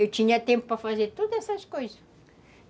Eu tinha tempo para fazer todas essas coisas.